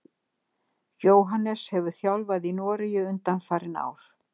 Jóhannes hefur þjálfað í Noregi undanfarin ár.